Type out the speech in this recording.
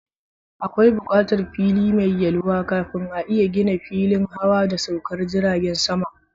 Akwai bukatar fili mai yalwa kafin a iya gina filin hawa da saukar jirajen sama.